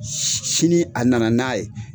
Si sini a nana n'a ye